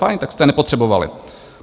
Fajn, tak jste je nepotřebovali.